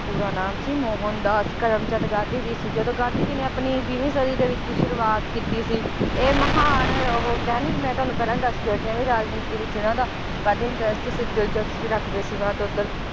ਪੂਰਾ ਨਾਮ ਸੀ ਮੋਹਨਦਾਸ ਕਰਮਚੰਦ ਗਾਂਧੀ ਜੀ ਸੀ ਜਦੋ ਗਾਂਧੀ ਜੀ ਨੇ ਆਪਣੀ ਬੀਵੀਂ ਸਦੀ ਦੇ ਵਿਚ ਸ਼ੁਰੂਆਤ ਕੀਤੀ ਸੀ ਇਹ ਮਹਾਨ ਉਹ ਕਿਹਾ ਨੀ ਮੈ ਤੁਹਾਨੂੰ ਪਹਿਲਾਂ ਦਸ ਕੇ ਹੱਟੀ ਆ ਵੀ ਰਾਜਨੀਤੀ ਵਿਚ ਇਹਨਾਂ ਦਾ ਵੱਧ interest ਸੀ ਦਿਲਚਸਪੀ ਰੱਖਦੇ ਸੀ ਵੱਧ ਉੱਧਰ